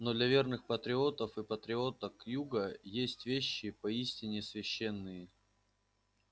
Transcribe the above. но для верных патриотов и патриоток юга есть вещи поистине священные